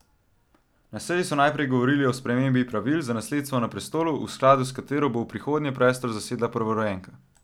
Na seji so najprej govorili o spremembi pravil za nasledstvo na prestolu, v skladu s katero bo v prihodnje prestol zasedla prvorojenka.